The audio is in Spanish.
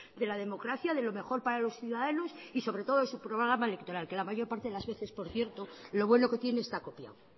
de la democracia de lo mejor para los ciudadanos y sobre todo su programa electoral que la mayor parte de las veces por cierto lo bueno que tiene esta copiado